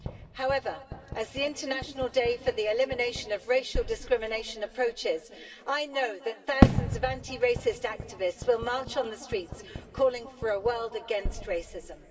However, as the International Day for the Elimination of Racial Discrimination approaches, I know that thousands of anti racist activists will march on the streets, calling for a world against racism.